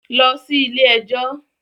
Lọ sí ilé-ẹjọ̀